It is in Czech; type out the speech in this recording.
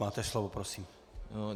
Máte slovo, prosím.